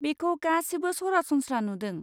बेखौ गासिबो सरासनस्रा नुदों।